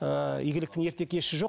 ыыы игіліктің ерте кеші жоқ